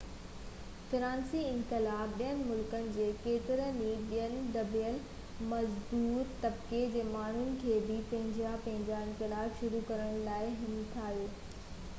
فرانسيسي انقلاب ٻين ملڪن جي ڪيترن ئي ٻين دٻيل مزدور طبقي جي ماڻهن کي بہ پنهنجا پنهنجا انقلاب شروع ڪرڻ لاءِ همٿايو